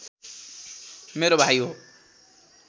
मेरा भाइ हो